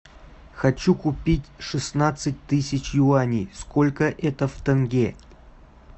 хочу купить шестнадцать тысяч юаней сколько это в тенге